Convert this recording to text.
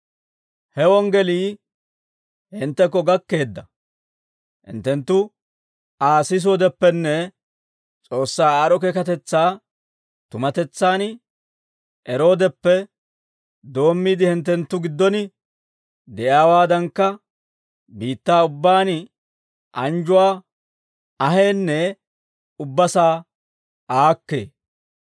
He wonggelii hinttekko gakkeedda; hinttenttu Aa sisoodeppenne S'oossaa aad'd'o keekatetsaa tumatetsaan eroodeppe doommiide, hinttenttu giddon de'iyaawaadankka, biittaa ubbaan anjjuwaa aheenne ubbasaa aakkee.